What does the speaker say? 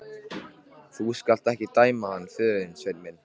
Þú skalt ekki dæma hann föður þinn, Sveinn minn.